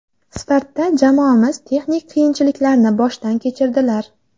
Startda jamoamiz texnik qiyinchiliklarni boshdan kechirdilar.